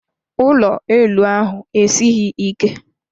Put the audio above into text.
Ụlọ elu ahụ esighị ike.